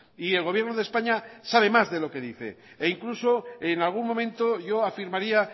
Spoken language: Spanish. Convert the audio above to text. y el gobierno de españa sabe más de lo que dice e incluso en algún momento yo afirmaría